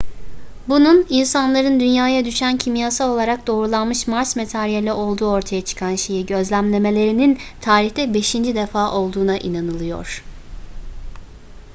bunun insanların dünya'ya düşen kimyasal olarak doğrulanmış mars materyali olduğu ortaya çıkan şeyi gözlemlemelerinin tarihte beşinci defa olduğuna inanılıyor